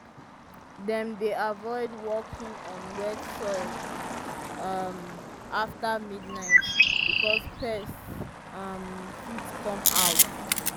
dem dey avoid walking on wet soil um after midnight because pests um fit come out.